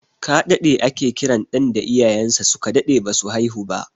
Kaɗaɗe ake kiran ɗan da iyayen sa su ka daɗe ba su haihu ba